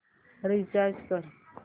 recharge कर